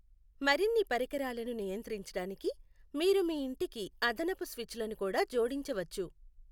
మరిన్ని పరికరాలను నియంత్రించడానికి మీరు మీ ఇంటికి అదనపు స్విచ్లను కూడా జోడించవచ్చు